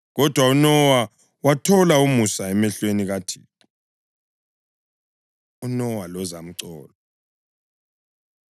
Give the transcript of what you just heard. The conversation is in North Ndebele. Kodwa uNowa wathola umusa emehlweni kaThixo. UNowa Lozamcolo